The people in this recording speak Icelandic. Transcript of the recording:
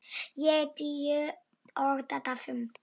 Ég tíu og Dadda fimm.